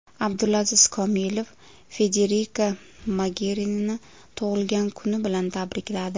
Abdulaziz Komilov Federika Mogerinini tug‘ilgan kuni bilan tabrikladi.